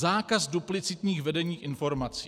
Zákaz duplicitních vedení informací.